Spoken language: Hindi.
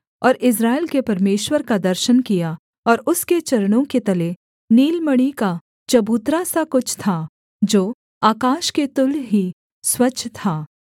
और इस्राएल के परमेश्वर का दर्शन किया और उसके चरणों के तले नीलमणि का चबूतरा सा कुछ था जो आकाश के तुल्य ही स्वच्छ था